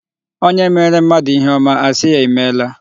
Onye meere mmadụ ihe ọma, a sị ya imeela.